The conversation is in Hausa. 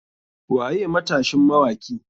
Waye matashin mawaki?